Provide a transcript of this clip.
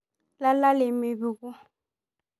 lala lemepuku